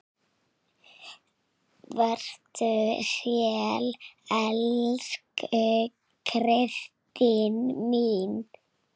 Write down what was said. Vertu sæl, elsku Kristín mín.